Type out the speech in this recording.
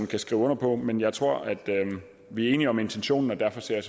kan skrive under på men jeg tror at vi er enige om intentionen og derfor ser